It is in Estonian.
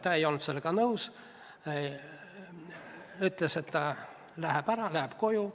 Ta ei olnud sellega nõus ja ütles, et läheb ära koju.